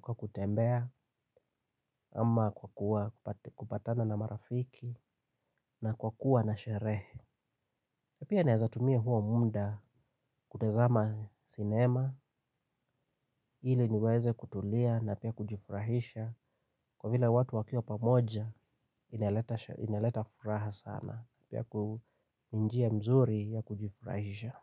kwa kutembea ama kwa kupatana na marafiki na kwa kuwa na sherehe pia nawezatumie huo munda kutezama cinema ili niweze kutulia na pia kujifurahisha kwa vile watu wakiwa pamoja inaleta ineleta furaha sana yaku ni njia mzuri ya kujifurahisha.